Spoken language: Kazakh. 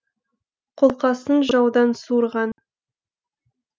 қолқасын жаудан суырған